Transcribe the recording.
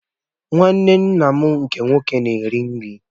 Nwanne nna m nke nwoke na-eri nri.